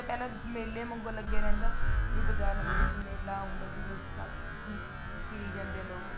ਪਹਿਲਾਂ ਮੇਲੇ ਵਾਂਗੂ ਲੱਗਿਆ ਰਹਿੰਦਾ ਵੀ ਬਜਾਰਾਂ ਦੇ ਵਿੱਚ ਮੇਲਾ ਆਉਂਦਾ ਜਿਵੇਂ ਉਸ ਤਰ੍ਹਾਂ ਫਿਰੀ ਜਾਂਦੇ ਆ ਲੋਕ